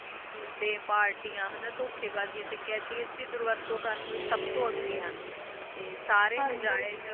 ਘੁੰਡੇ ਪਾਰਟੀਆਂ ਤੇ ਤੇ ਧੋਕੀ ਬਾਜ਼ੀ ਤੇ ਕੈਡੀ ਐਸ ਡੋਰੋਵਰਤੋ ਕਰਨ ਲਾਏ ਸਬ ਤੋਂ ਅਗੈ ਹੁਣ ਤੇ ਸਾਰੇ ਨਟੈਜ